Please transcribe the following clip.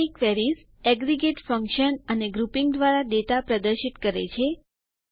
summary queries aggregate function વિધેયો અને grouping દ્વારા ડેટા પ્રદર્શિત કરે છે